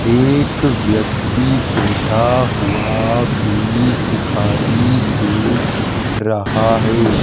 एक व्यक्ति बैठा हुआ भी दिखाई दे रहा है।